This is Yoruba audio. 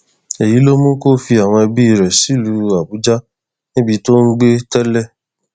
èyí ló mú kó fi àwọn ẹbí rẹ sílùú àbújá níbi tó ń gbé tẹlẹ